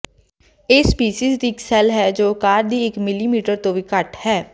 ਇਹ ਸਪੀਸੀਜ਼ ਇੱਕ ਸ਼ੈੱਲ ਹੈ ਜੋ ਆਕਾਰ ਦੀ ਇਕ ਮਿਲੀਮੀਟਰ ਤੋਂ ਵੀ ਘੱਟ ਹੈ